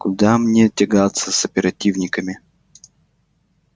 куда мне тягаться с оперативниками